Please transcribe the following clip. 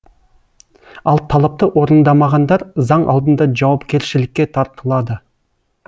ал талапты орындамағандар заң алдында жауапкершілікке тартылады